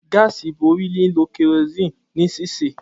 Gáásì bori lilo kerosene ni sise.